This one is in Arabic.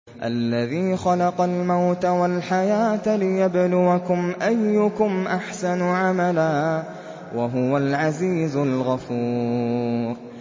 الَّذِي خَلَقَ الْمَوْتَ وَالْحَيَاةَ لِيَبْلُوَكُمْ أَيُّكُمْ أَحْسَنُ عَمَلًا ۚ وَهُوَ الْعَزِيزُ الْغَفُورُ